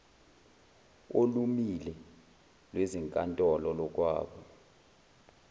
olumile lwezinkantolo lokwaba